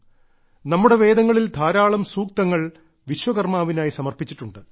നമ്മുടെ വേദങ്ങളിൽ ധാരാളം സൂക്തങ്ങൾ വിശ്വകർമ്മാവിനായി സമർപ്പിച്ചിട്ടുണ്ട്